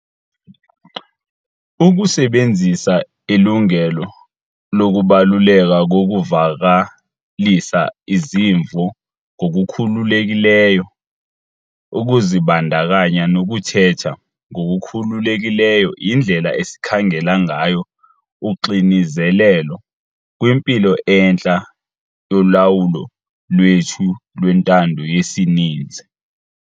Ukusebenzisa ilungelo lokubaluleka kokuvakalisa izimvo ngokukhululekileyo, ukuzibandakanya nokuthetha ngokukhululekileyo yindlela esikhangela ngayo uxinizelelo kwimpilo entle yolawulo lwethu lwentando yesininzi.